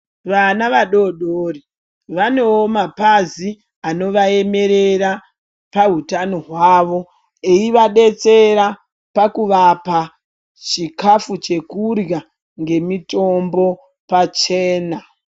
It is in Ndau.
Vana vadodori vanewo mapazi anovaemerera pahutano hwawo eivadetsera pakuvapa chikafu chekurya mitombo pachena.